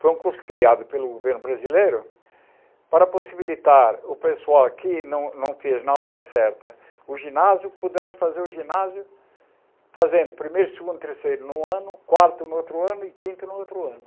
Foi um curso criado pelo governo brasileiro para possibilitar o pessoal que não não fez na hora certa o ginásio, pudesse fazer o ginásio fazendo primeiro, segundo, terceiro num ano, quarto no outro ano e quinto no outro ano.